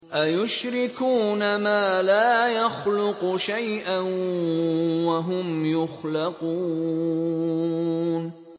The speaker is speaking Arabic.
أَيُشْرِكُونَ مَا لَا يَخْلُقُ شَيْئًا وَهُمْ يُخْلَقُونَ